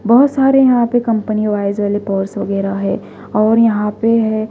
बहुत सारे यहां पे कंपनी वाइज वाले पॉर्स वगैरह है और यहां पे है--